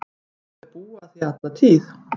Munu þau búa að því alla tíð.